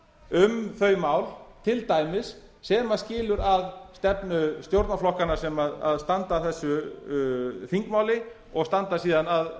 um þau mál til dæmis sem skilur að stefnu stjórnarflokkanna sem standa að þessu þingmáli og standa síðan að